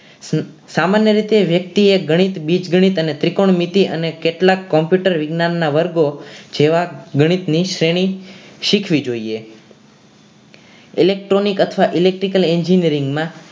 સામાન્ય રીતે વ્યક્તિએ ગણિત ત્રિકોણમિતિ અને કેટલાક computer વિજ્ઞાનના વર્ગો જેવા ગણિતની શ્રેણી શીખવી જોઈએ electronic અથવા electrical engineering માં